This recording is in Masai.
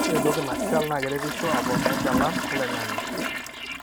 ore entoki nashal na keretisho aponaa enchalan oloingange.